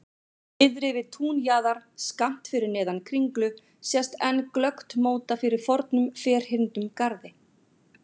Niðri við túnjaðar, skammt fyrir neðan Kringlu sést enn glöggt móta fyrir fornum ferhyrndum garði.